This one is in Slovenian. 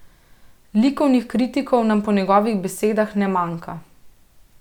Likovnih kritikov nam po njegovih besedah ne manjka.